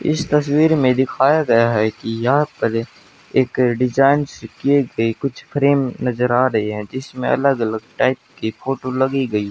इस तस्वीर में दिखाया गया हैं कि यहां पर एक डिजाइन से किए गए कुछ फ्रेम नजर आ रही है जिसमें अलग अलग टाइप के फोटो लगी गई--